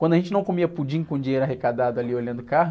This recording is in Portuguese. Quando a gente não comia pudim com dinheiro arrecadado ali olhando o carro,